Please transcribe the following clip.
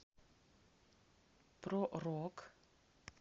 про рок